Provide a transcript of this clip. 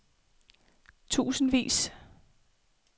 tusindvis